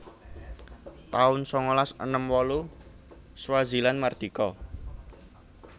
taun sangalas enem wolu Swaziland mardika